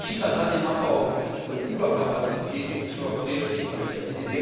Die Regierung Chinas hat den Abbau von Überkapazitäten zur Priorität erklärt.